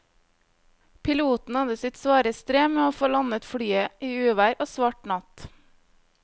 Piloten hadde sitt svare strev med å få landet flyet i uvær og svart natt.